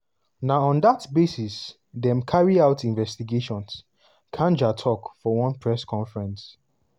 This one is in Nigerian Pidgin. "na on dat basis dem carry out investigations" kanja tok for one press conference.